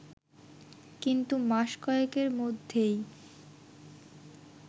কিন্তু মাস কয়েকের মধ্যেই